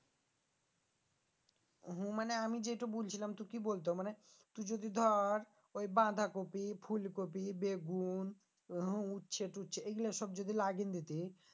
হু মানে আমি যেইটো বলছিলাম তু কি বলতো মানে তু যদি ধর ওই বাঁধাকপি ফুলকপি বেগুন উচ্ছে টুচ্ছে এইগুলা সব যদি লাগিয়ে লিতি